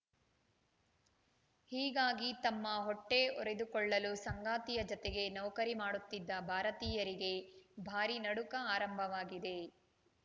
ಹೀಗಾಗಿ ತಮ್ಮ ಹೊಟ್ಟೆಹೊರೆದುಕೊಳ್ಳಲು ಸಂಗಾತಿಯ ಜತೆಗೆ ನೌಕರಿ ಮಾಡುತ್ತಿದ್ದ ಭಾರತೀಯರಿಗೆ ಭಾರಿ ನಡುಕ ಆರಂಭವಾಗಿದೆ